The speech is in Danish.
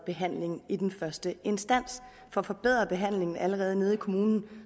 behandlingen i den første instans får forbedret behandlingen allerede hos kommunen